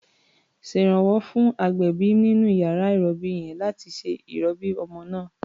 Ṣèrànwọ́ fún agbẹ̀bí nínú iyàrá ìrọbí yẹn láti ṣe ìrọbí ọmọ náà.